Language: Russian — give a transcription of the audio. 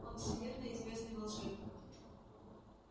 он всемирно известный волшебник